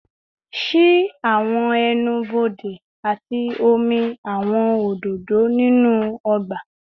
Ṣii awọn ẹnu-bode ati omi awọn ododo ninu ọgba